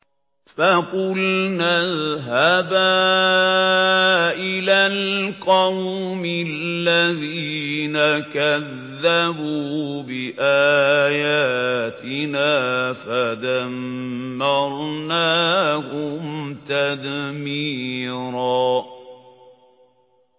فَقُلْنَا اذْهَبَا إِلَى الْقَوْمِ الَّذِينَ كَذَّبُوا بِآيَاتِنَا فَدَمَّرْنَاهُمْ تَدْمِيرًا